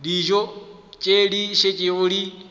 dijo tše di šetšego di